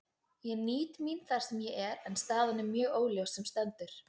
Ég nýt mín þar sem ég er, en staðan er mjög óljós sem stendur.